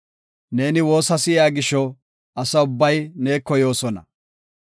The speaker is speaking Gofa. Neeni woosa si7iya gisho, asa ubbay neeko yoosona.